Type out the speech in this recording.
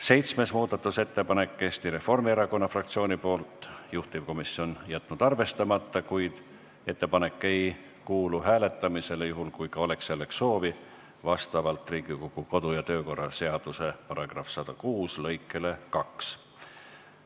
Seitsmes muudatusettepanek on Eesti Reformierakonna fraktsioonilt, juhtivkomisjon on jätnud arvestamata, kuid ettepanek ei kuulu hääletamisele, juhul kui ka oleks selleks soovi, vastavalt Riigikogu kodu- ja töökorra seaduse § 106 lõikele 2.